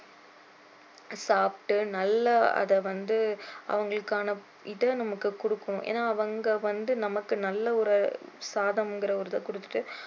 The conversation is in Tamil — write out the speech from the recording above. சாப்பிட்டு நல்ல அதை வந்து அவங்களுக்கான இதை நமக்கு கொடுக்கணும் ஏன்னா அவங்க வந்து நமக்கு நல்ல ஒரு சாதம்கிற ஒரு இதை கொடுத்துட்டு